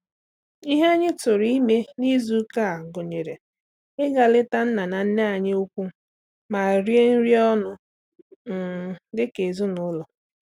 Ihe anyị tụrụ ime n’izu ụka gụnyere ịga leta nna na nne anyị ukwu ma rie nri ọnụ um dị ka ezinụlọ.